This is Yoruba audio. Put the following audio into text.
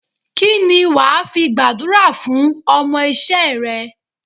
Kíni wàá fi gbàdúrà fún ọmọ isé re?